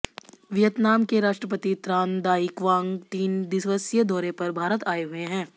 Vietnam के राष्ट्रपति Tran Dai Quang तीन दिवसीय दौरे पर भारत आऐ हुए हैं